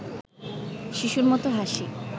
শিশুর মতো হাসি